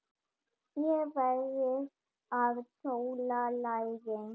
Er verið að sóla lærin?